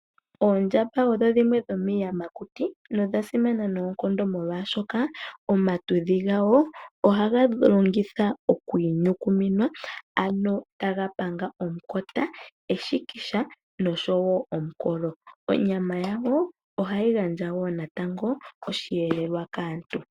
Oondjamba odho dhimwe dhomiiyamakuti nodhasimana noonkondo molwaashoka iiyekelwahi yawo ohayi longithwa okwiinyukumina, ano tayi panga omukota , eshikisha noshowoo omukolo. Onyama yawo ohayi gandja wo natango osheelelwa kaantu.